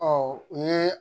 Ɔ o ye